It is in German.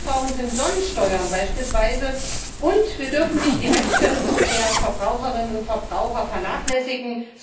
Was wir nicht brauchen, sind beispielsweise Sonnensteuern, und wir dürfen nicht die Rechte der Verbraucherinnen und Verbraucher vernachlässigen.